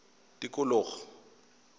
tikologo